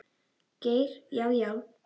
Geir Já, já.